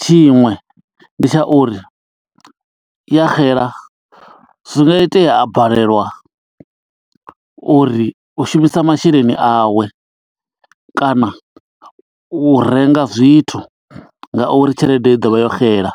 Tshiṅwe ndi tsha uri ya xela, zwi nga itea a balelwa uri u shumisa masheleni awe, kana u renga zwithu nga uri tshelede i ḓo vha yo xela.